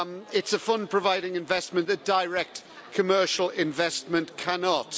It's a fund providing investment that direct commercial investment cannot.